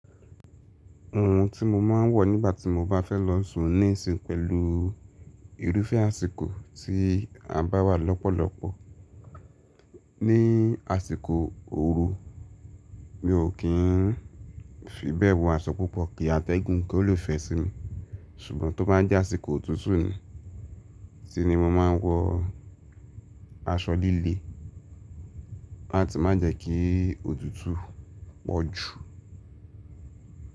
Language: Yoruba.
Ohun tí mo máa ń wọ̀ nígbà tí mo bá fẹ́ lọ sún níìsín pẹ̀lú irúfẹ́ àsìkò tí a bá wà lọ́pọ̀lọpọ̀ ní àsìkò ooru, mi ò kí ń fi bẹ́ẹ̀ wọ aṣọ púpọ̀ kí atẹ́gùn kó le fẹ̀ sí mi. Ṣùgbọ́n tó bá jẹ́ àsìkò òtútù ni, sí ni mo máa ń wọ aṣọ líle láti má jẹ́ kí òtútù pọ̀ jù.